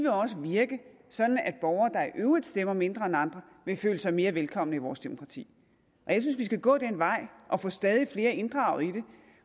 også vil virke sådan at borgere der i øvrigt stemmer mindre end andre vil føle sig mere velkomne i vores demokrati jeg synes vi skal gå den vej at få stadig flere inddraget i